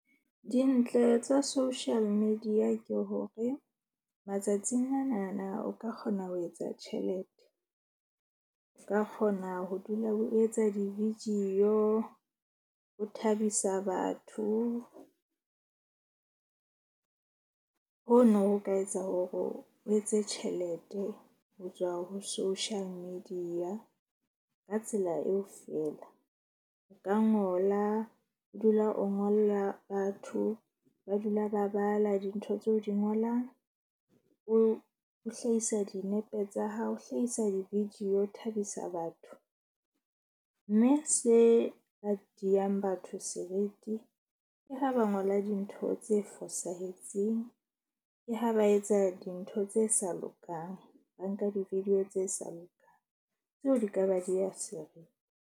Dintle tsa social media ke hore matsatsing anana o ka kgona ho etsa tjhelete. O ka kgona ho dula o etsa di-video, o thabisa batho, ho no ho ka etsa hore o o etse tjhelete ho tswa ho social media. Ka tsela eo fela o ka ngola o dula o ngolla batho ba dula ba bala dintho tseo di ngolang. O hlahisa dinepe tsa hao, o hlahisa di-video, o thabisa batho. Mme se ka diang batho seriti ke ha ba ngola dintho tse fosahetseng. Ke ha ba etsa dintho tse sa lokang, ba nka di-video tse sa lokang, tseo di ka ba diya seriti.